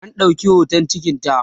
an ɗauki hoton cikinta